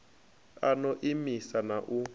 a no imisa na u